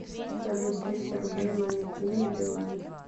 салют триста рублей маме кинь на билайн